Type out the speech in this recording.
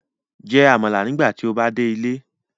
Jẹ amala nigbati o ba de ile